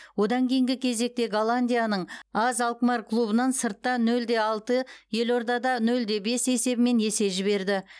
одан кейінгі кезекте голландияның аз алкмар клубынан сыртта нөл де алты елордада нөл де бес есебімен есе жіберді